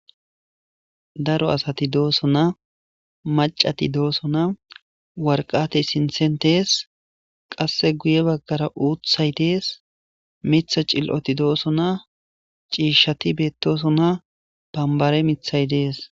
Daro asati doosona maccati doosona; waraqatay sinththen dees; qasse guye baggara uuththay dees miththa cil'oti doosona; ciishshati bettoosona; banbbare miththay dees.